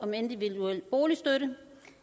ordet